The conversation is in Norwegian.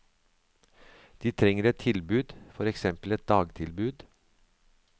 De trenger et tilbud, for eksempel et dagtilbud.